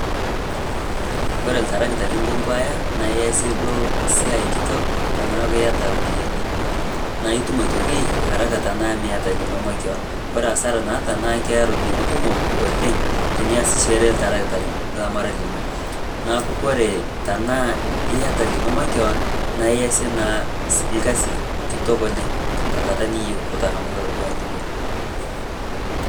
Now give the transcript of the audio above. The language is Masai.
kore ltarigita linkompuaya naa iasie duo siai kitok tanaaku iata ropiyani naa itum otoki haraka tanaa miata lino makeyon kore hasara naata naa keya ropiyani kumok oleng tiniasheree ltaragita lamara linoo naaku kore tanaa iata lino makeyon naaku iasie naa lkazi kitok oleng tankataa niyeu oo tangamata duake niyeu